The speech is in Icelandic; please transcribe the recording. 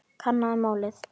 Kannaðu málið.